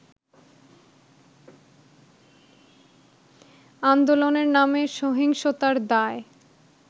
আন্দোলনের নামে সহিংসতার দায়